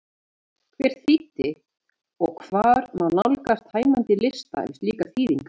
Hver þýddi og hvar má nálgast tæmandi lista yfir slíkar þýðingar?